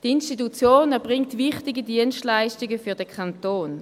Die Institution erbringt wichtige Dienstleistungen für den Kanton.